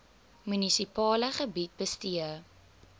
munisipale gebied bestee